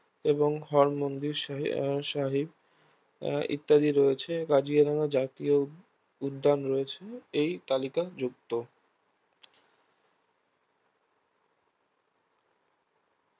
এবং হরমন্দির সাহি আহ সাহিব আহ ইত্যাদি রয়েছে কাঞ্চনজঙ্ঘা জাতীয় উদ্যান রয়েছে এই তালিকা যুক্ত